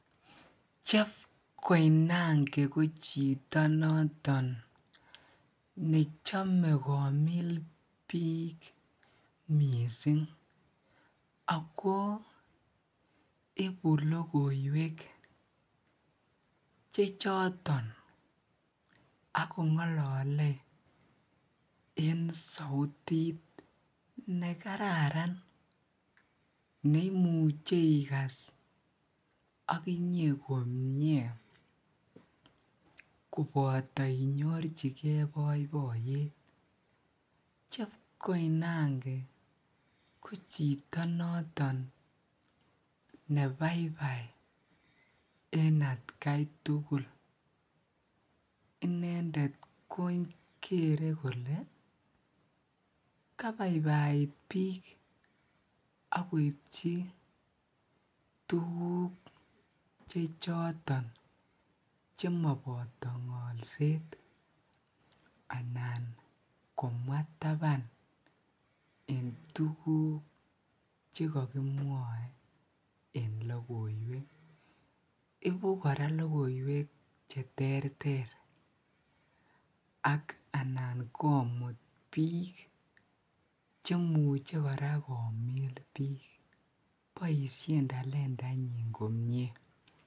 Jeff Koinange ko chito noton nechome komil biik mising ak ko ibuu lokiwek chechoton ak kongolole en sautit nekararan neimuche ikas okinye komnye koboto inyorchike boiboiyet, Jeff Koinange ko chito noton nebaibai en atkai tukul, inendet ko kere kolee kabaibait biik ak koibchi tukuk chechoton chemoboto ngolset anan komwaa taban en tukuk chekokimwoe en lokoiwek, ibukora lokoiwek cheterter ak anan komut biik chemuche kora komiil biik, boishen talentainyin komnye.